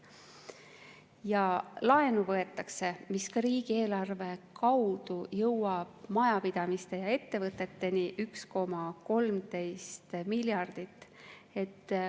Ja laenu võetakse, mis ka riigieelarve kaudu jõuab majapidamiste ja ettevõteteni: 1,13 miljardit.